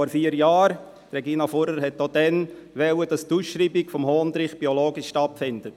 Regina Fuhrer wollte auch damals, dass die Ausschreibung des Hondrich biologisch stattfindet.